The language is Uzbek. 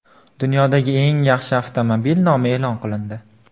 Dunyodagi eng yaxshi avtomobil nomi e’lon qilindi.